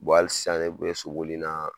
hali sisan ne bɛ soboli in na